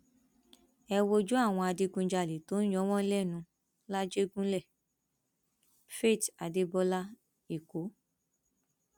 ẹ wojú àwọn adigunjalè tó ń yọ wọn lẹnu làjẹgùnlé faith adébọlá èkó